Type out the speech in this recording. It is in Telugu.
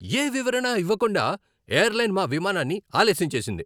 ఏ వివరణ ఇవ్వకుండా ఎయిర్లైన్ మా విమానాన్ని ఆలస్యం చేసింది.